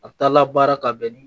A bɛ taa labaara ka bɛn ni